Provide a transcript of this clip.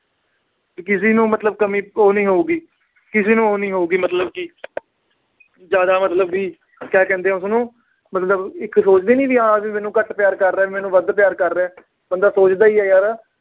ਕਿਸੇ ਨੂੰ ਮਤਲਬ ਕਮੀ ਓ ਨੀ ਹੋਊਗੀ, ਕਿਸੇ ਨੂੰ ਓ ਨੀ ਹੋਊਗੀ ਮਤਲਬ। ਜਿਆਦਾ ਮਤਲਬ ਕੀ ਕਹਿੰਦੇ ਆ ਉਸਨੂੰ ਮਤਲਬ ਸੋਚਦੇ ਈ ਆਹ ਮੈਨੂੰ ਘੱਟ ਪਿਆਰ ਕਰ ਰਿਹਾ, ਮੈਨੂੰ ਵੱਧ ਪਿਆਰ ਕਰ ਰਿਹਾ, ਬੰਦਾ ਸੋਚਦਾ ਈ ਆ ਯਾਰ।